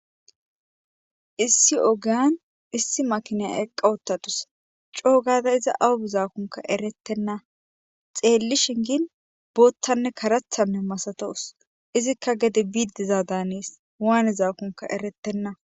issi ogiyan issi makine eqqa uttadusa coo gada iza awa bizaakonka erettenna .xeellishin gin boottanne karatta masatawus izikka gede biidizaada hanees waanizaakonka erettenna.